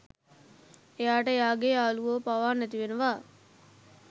එයාට එයාගේ යාළුවො පවා නැති වෙනවා.